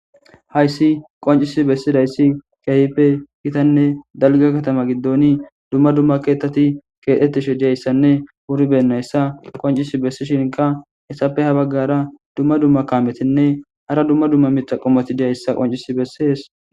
hayssi qoncisi bessidayssi keehippe. gitanne dalga katama giddoni dumma dumma keettati keedhettishe diyayssanne huribennayssa qoncis bessishinka hessappe ha baggara dumma dumma kaametinne hara dumma dumma mita qomoti diyayssa qoncisi bessees